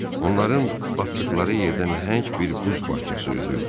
Onların batdıqları yerdə nəhəng bir buz parçası üzürdü.